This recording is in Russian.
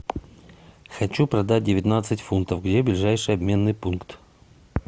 хочу продать девятнадцать фунтов где ближайший обменный пункт